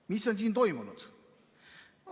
Mis on siin toimunud?